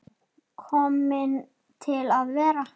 Komin til að vera?